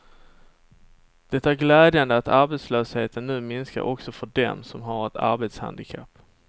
Det är glädjande att arbetslösheten nu minskar också för dem som har ett arbetshandikapp.